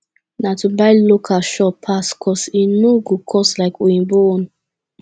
na to buy local sure pass cos e no go cost like oyinbo own